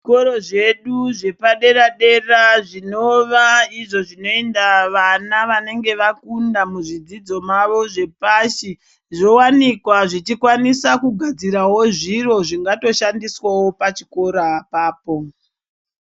Zvikoro zvedu zvepadera dera zvinova izvo zvinoenda vana vanenge vakunda muzvidzidzo mavo zvepashi zvowanikwa zvichijwanisa kugadzirawo zviro zvingatoshandiswawo pachikora apapo.